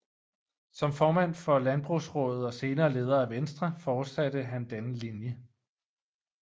Som formand for Landbrugsraadet og senere leder af Venstre fortsatte han denne linje